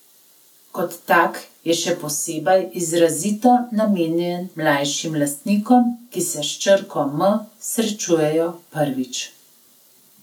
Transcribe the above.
Kot tak je še posebej izrazito namenjen mlajšim lastnikom, ki se s črko M srečujejo prvič.